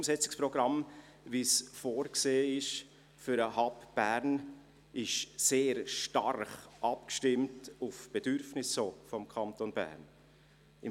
Das Umsetzungsprogramm, wie es für den Hub Bern vorgesehen ist, ist auch sehr stark auf die Bedürfnisse des Kantons Bern abgestimmt.